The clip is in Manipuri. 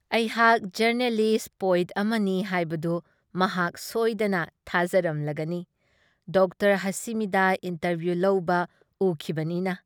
ꯑꯩꯍꯥꯛ ꯖꯔꯅꯦꯂꯤꯁꯠ-ꯄꯣꯏꯠ ꯑꯃꯅꯤ ꯍꯥꯏꯕꯗꯨ ꯃꯍꯥꯛ ꯁꯣꯏꯗꯅ ꯊꯥꯖꯔꯝꯃꯂꯒꯅꯤ ꯗꯣꯛꯇꯔ ꯍꯥꯁꯤꯃꯤꯗ ꯏꯟꯇꯔꯕꯤꯌꯨ ꯂꯧꯕ ꯎꯈꯤꯕꯅꯤꯅ ꯫